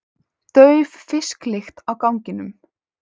Dauf fisklykt á ganginum.